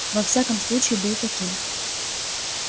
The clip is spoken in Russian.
во всяком случае был таким